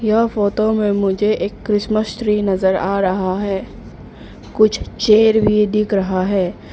यह फोटो में मुझे एक क्रिसमस ट्री नजर आ रहा है कुछ चेयर भी दिख रहा है।